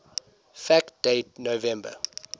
fact date november